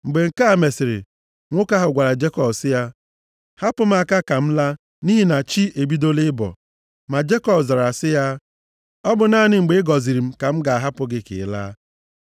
Mgbe nke a mesịrị, nwoke ahụ gwara Jekọb sị ya: “Hapụ m aka ka m laa, nʼihi na chi ebidola ịbọ.” Ma Jekọb zara sị ya, “Ọ bụ naanị mgbe ị gọziri m ka m ga-ahapụ gị ka ị laa.”